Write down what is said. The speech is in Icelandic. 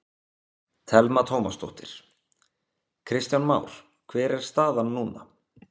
Telma Tómasdóttir: Kristján Már hver er staðan núna?